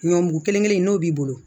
Ɲɔ mugu kelen kelen n'o b'i bolo